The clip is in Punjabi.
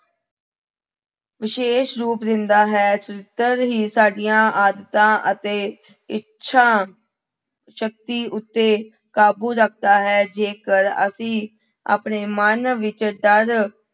ਵਿਸ਼ੇਸ਼ ਰੂਪ ਦਿੰਦਾ ਹੈ ਚਰਿਤਰ ਹੀ ਸਾਡੀਆਂ ਆਦਤਾਂ ਅਤੇ ਇੱਛਾ ਸ਼ਕਤੀ ਉੱਤੇ ਕਾਬੂ ਰੱਖਦਾ ਹੈ, ਜੇਕਰ ਅਸੀਂ ਆਪਣੇ ਮਨ ਵਿੱਚ ਡਰ